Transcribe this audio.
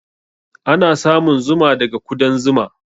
Ana samun Zuma daga kudan Zuma.